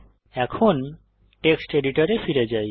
এখন টেক্সট এডিটরে ফিরে যাই